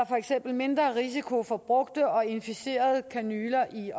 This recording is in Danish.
for eksempel mindre risiko for brugte og inficerede kanyler i